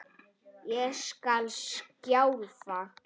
Ég skal sjálf.